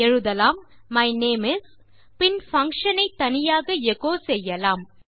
எழுதலாம் my name is பின் function ஐ தனியாக எச்சோ செய்யலாம்